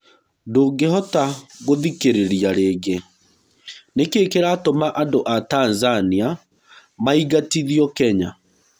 Ndũngĩhota gũthikĩrĩria rĩngĩ. Nĩkĩĩ kĩratũma andũa Tanzania maigatithĩo Kenya?